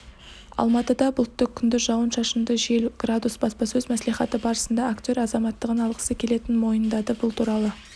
алматыда бұлтты күндіз жауын-шашынды жел градус баспасөз мәслихаты барысында актер азаматтығын алғысы келетінін мойындады бұл туралы